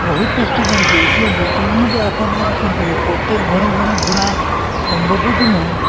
বহুত কষ্ট কৰিছে, এতিয়া বৰ্তমানো টো আশা বোৰে কৰি থাকে । প্ৰত্যেক ঘৰে ঘৰে ঘূৰা সম্ভবোটো নহয়।